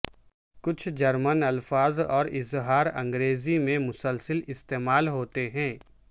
کچھ جرمن الفاظ اور اظہار انگریزی میں مسلسل استعمال ہوتے ہیں